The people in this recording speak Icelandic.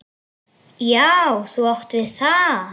Já, þú átt við það!